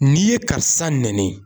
N'i ye karisa nɛni